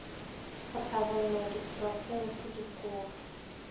go hlabollwa ke diprofense dikolo